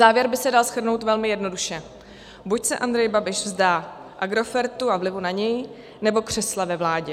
Závěr by se dal shrnout velmi jednoduše: buď se Andrej Babiš vzdá Agrofertu a vlivu na něj, nebo křesla ve vládě.